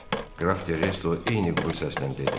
Qraf Terezo eyni quru səslə dedi.